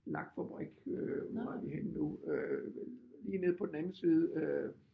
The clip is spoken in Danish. Lakfabrik øh hvor er vi henne nu øh lige nede på den anden side øh